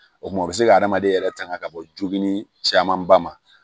O kuma u bɛ se ka hadamaden yɛrɛ tanga ka bɔ joginni camanba ma